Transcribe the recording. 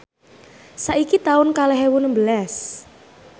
saiki taun kalih ewu nembelas